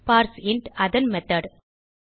parseInt அதன் method